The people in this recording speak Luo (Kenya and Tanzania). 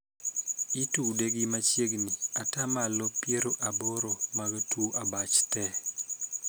Itude gi machiegni ataa malo piero aboro mag tuo abach tee.